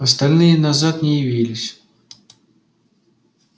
остальные назад не явились